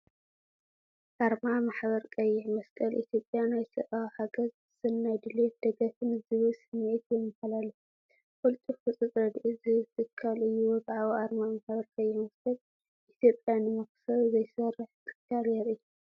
ኣርማ ማሕበር ቀይሕ መስቀል ኢትዮጵያ፡ ናይ ሰብኣዊ ሓገዝ፣ ሰናይ ድሌት፣ ደገፍን ዝብል ስምዒት የመሓላልፍ፤ ቅልጡፍ ህጹጽ ረድኤት ዝህብ ትካል እዩ። ወግዓዊ ኣርማ ማሕበር ቀይሕ መስቀል ኢትዮጵያ ንመኽሰብ ዘይሰርሕ ትካል የርኢ።